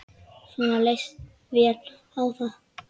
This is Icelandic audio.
Svenna líst vel á það.